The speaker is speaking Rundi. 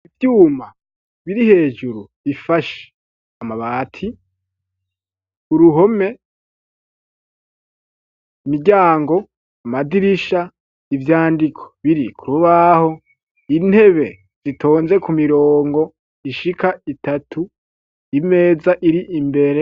Ivyuma biri hejuru bifashe amabati uruhome miryango amadirisha ibyandiko biri kurubaho intebe zitonze ku mirongo ishika itatu imeza iri imbere.